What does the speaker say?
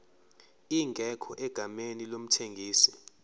ingekho egameni lomthengisi